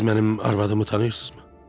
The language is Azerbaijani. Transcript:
Siz mənim arvadımı tanıyırsınızmı?